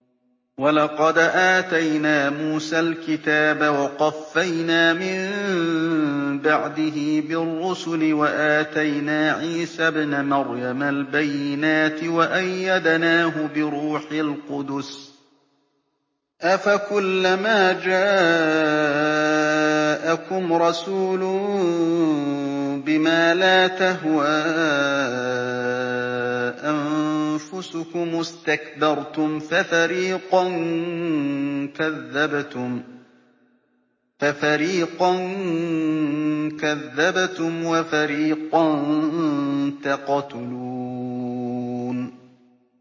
وَلَقَدْ آتَيْنَا مُوسَى الْكِتَابَ وَقَفَّيْنَا مِن بَعْدِهِ بِالرُّسُلِ ۖ وَآتَيْنَا عِيسَى ابْنَ مَرْيَمَ الْبَيِّنَاتِ وَأَيَّدْنَاهُ بِرُوحِ الْقُدُسِ ۗ أَفَكُلَّمَا جَاءَكُمْ رَسُولٌ بِمَا لَا تَهْوَىٰ أَنفُسُكُمُ اسْتَكْبَرْتُمْ فَفَرِيقًا كَذَّبْتُمْ وَفَرِيقًا تَقْتُلُونَ